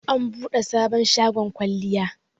an bude sabon shagon kwalliya